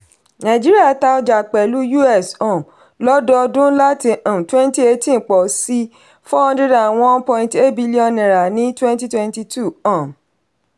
nàìjíríà tà ọjà pẹ̀lú us um lọ́dọọdún láti um twenty eighteen pọ̀ sí four hundred and one point eight billion naira ní twenty twenty two um